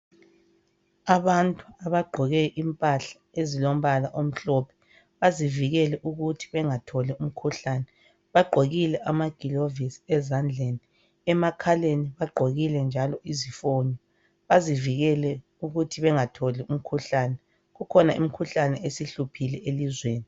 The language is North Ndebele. Abantu abagqoke impahla ezilombala omhlophe bazivikele ukuthi bengatholi umkhuhlane. Bagqokile amagilovisi ezandleni. Emakhaleni bagqokile njalo izifonyo bazivikele ukuthi bengatholi umkhuhlane. Kukhona imikhuhlane esihluphile elizweni.